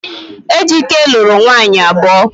Ejike luru nwunye abuo